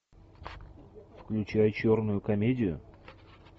включай черную комедию